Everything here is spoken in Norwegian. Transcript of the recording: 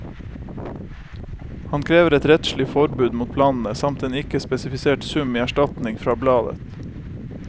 Han krever et rettslig forbud mot planene, samt en ikke spesifisert sum i erstatning fra bladet.